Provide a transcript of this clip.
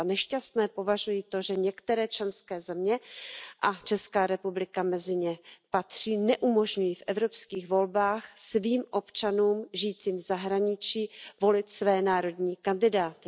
Za nešťastné považuji to, že některé členské země a Česká republika mezi ně patří neumožňují v evropských volbách svým občanům žijícím v zahraničí volit své národní kandidáty.